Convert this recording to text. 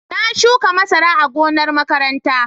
Na shuka masara a gonar makaranta.